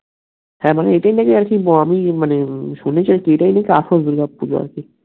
হ্যাঁ মানে এইটাই নাকি আর কি আমি শুনেছি আরকি এইটা হইলো কি আসল দূর্গা পূজো আরকি